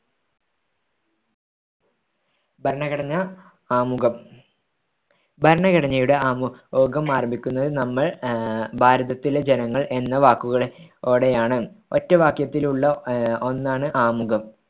ഭരണഘടന ആമുഖം ഭരണഘടനയുടെ ആമുഖം ആരംഭിക്കുന്നത് നമ്മൾ ഭാരതത്തിലെ ജനങ്ങൾ എന്ന വാക്കുകൾ ളോടെയാണ് ഒറ്റ വാക്യത്തിലുള്ള ഒന്നാണ് ആമുഖം